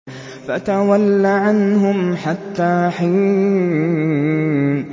فَتَوَلَّ عَنْهُمْ حَتَّىٰ حِينٍ